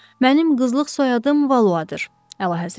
Mənim qızlıq soyadım Valloardır, Əlahəzrət.